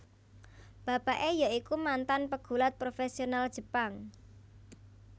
Bapake ya iku mantan pegulat profesional Jepang